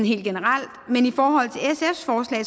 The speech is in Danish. helt generelt men i forhold